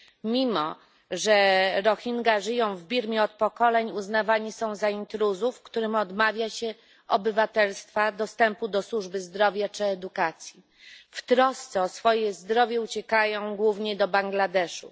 Mimo że Rohingja żyją w Birmie od pokoleń, uznawani są za intruzów, którym odmawia się obywatelstwa, dostępu do służby zdrowia czy edukacji. W trosce o swoje zdrowie uciekają głównie do Bangladeszu.